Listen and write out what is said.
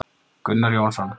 Gunnar Jónsson.